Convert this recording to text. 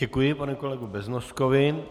Děkuji panu kolegu Beznoskovi.